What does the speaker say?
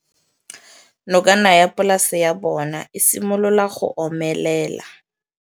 Nokana ya polase ya bona, e simolola go omelela.